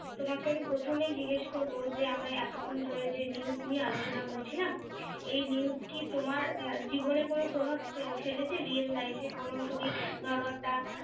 তোমাকে আমি প্রথমেই জিজ্ঞেস করবো যে আমরা এতক্ষন ধরে যে news নিয়ে আলোচনা করছিলাম এই news কি তোমার আহ জীবনে কোনো প্রভাব ফেলেছে real life এ কোনো তুমি ধরো একটা